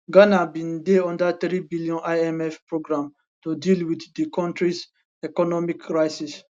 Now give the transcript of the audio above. ghana bin dey under 3bn imf programme to deal with di kontris economic crisis